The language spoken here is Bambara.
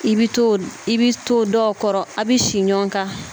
I bi to i bi to dɔw kɔrɔ a bi si ɲɔan kan